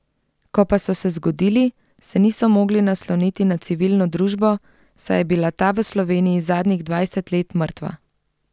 Ko pa so se zgodili, se niso mogli nasloniti na civilno družbo, saj je bila ta v Sloveniji zadnjih dvajset let mrtva.